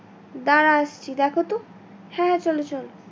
দাঁড়াও একটু দেখো তো হ্যাঁ হ্যাঁ চলো তো।